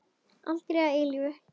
Aldrei að eilífu.